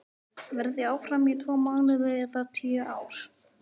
Verð ég áfram í tvo mánuði eða tíu ár?